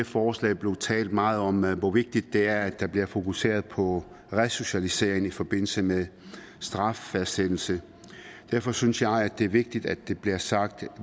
forslag blevet talt meget om hvor vigtigt det er at der bliver fokuseret på resocialisering i forbindelse med straffastsættelse og derfor synes jeg det er vigtigt at det bliver sagt at